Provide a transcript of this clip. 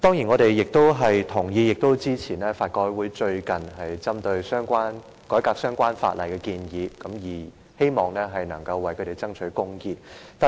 我們贊同法律改革委員會最近就改革相關法例提出的建議，希望能夠為殘疾人士爭取公義。